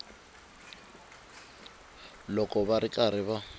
loko va ri karhi va